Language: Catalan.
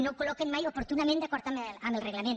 no ho col·loquen mai oportunament d’acord amb el reglament